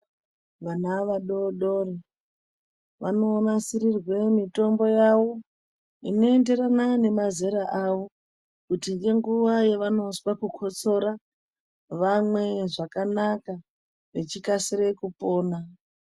Vana vadodori vanonasirirwe mitombo yawo inoenderana nemazera awo kuti ngenguwa yavanozwa kukotsora vamwe zvakanaka vechikasire kupona.